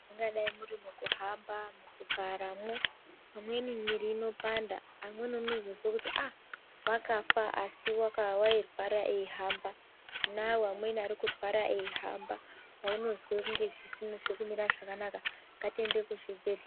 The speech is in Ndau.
Mungadai muri mukahamba mugaramwo amweni miri inopanda amweni unozozwa kuti ai wakafa asi warwara achihamba tinavo amweni arikurwara ehamba panozwa sezvisina kumira zvakanaka ngatiende kuzvibhehlera .